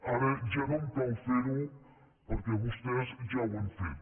ara ja no em cal fer ho perquè vostès ja ho han fet